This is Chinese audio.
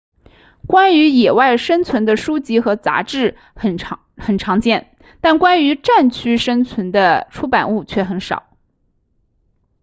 关于野外生存的书籍和杂志很常见但关于战区生存的出版物却很少